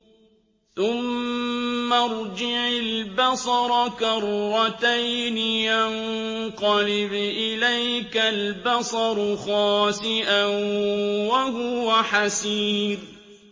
ثُمَّ ارْجِعِ الْبَصَرَ كَرَّتَيْنِ يَنقَلِبْ إِلَيْكَ الْبَصَرُ خَاسِئًا وَهُوَ حَسِيرٌ